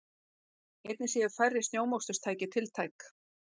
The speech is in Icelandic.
Einnig séu færri snjómoksturstæki tiltæk